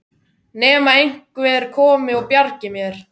Nema einhver komi og bjargi mér.